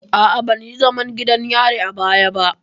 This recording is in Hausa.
A'a, ban yi zaman gidan yari a baya ba.